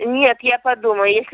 нет я подумаю если